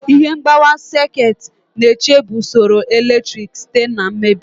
Ihe mgbawa sekit na-echebe usoro eletrik site na mmebi.